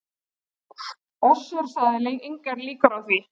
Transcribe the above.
Össur sagði engar líkur á því